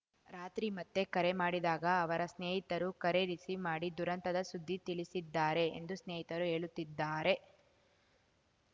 ರಾತ್ರಿ ಮತ್ತೆ ಕರೆ ಮಾಡಿದಾಗ ಅವರ ಸ್ನೇಹಿತರು ಕರೆ ರಿಸೀವ್‌ ಮಾಡಿ ದುರಂತದ ಸುದ್ದಿ ತಿಳಿಸಿದ್ದಾರೆ ಎಂದು ಸ್ನೇಹಿತರು ಹೇಳುತ್ತಿದ್ದಾರೆ